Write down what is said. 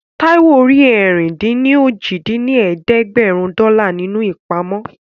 Táíwò rí ẹ̀rin-dín-ní-ojì dín ní ẹ̀ẹ́dẹ́gbẹ́rún dọ́là nínú ìpamọ́